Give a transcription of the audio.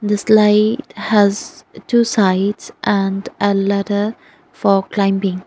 the slide has two sides and a ladder for climbing.